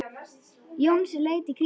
Jónsi leit í kringum sig.